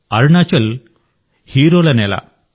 అరుణాచల్ హీరోల నేల